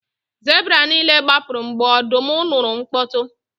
Zebra niile gbapụrụ mgbe ọdụm nụrụ mkpọtụ